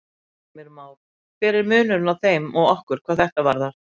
Heimir Már: Hver er munurinn á þeim og okkur hvað þetta varðar?